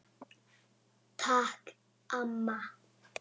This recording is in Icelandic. Takk amma.